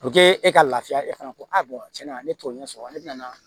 e ka lafiya e fana ko a bɔn tiɲɛna ne t'o ɲɛ sɔrɔ ne bɛna